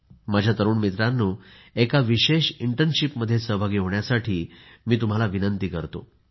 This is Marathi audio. माझ्या तरुण मित्रांनो एका विशेष इंटर्नशिपमध्ये सहभागी होण्याची मी तुम्हाला विनंती करतो